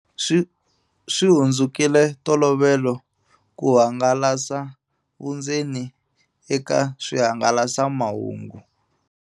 Swi hundzukile ntolovelo ku hangalasa vundzeni eka swihangalasamahungu.